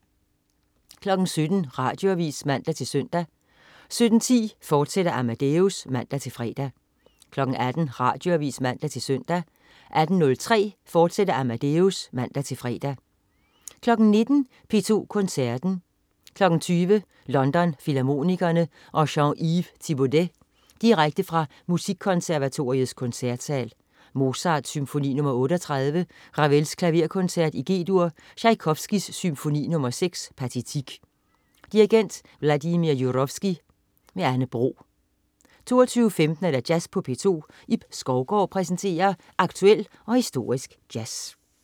17.00 Radioavis (man-søn) 17.10 Amadeus, fortsat (man-fre) 18.00 Radioavis (man-søn) 18.03 Amadeus, fortsat (man-fre) 19.00 P2 Koncerten. 20.00 London Filharmonikerne og Jean-Yves Thibaudet. Direkte fra Musikkonservatoriets Koncertsal. Mozart: Symfoni nr. 38. Ravel: Klaverkoncert, G-dur. Tjajkovskij: Symfoni nr. 6, Pathetique. Dirigent: Vladimir Jurowski. Anne Bro 22.15 Jazz på P2. Ib Skovgaard præsenterer aktuel og historisk jazz